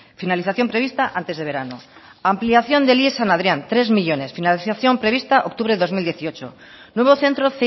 finalización prevista antes de verano ampliación de ies san adrián tres millónes financiación prevista octubre dos mil dieciocho nuevo centro